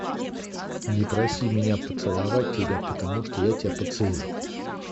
не проси меня поцеловать тебя потому что я тебя поцелую